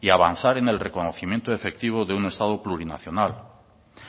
y avanzar en el reconocimiento efectivo de un estado plurinacional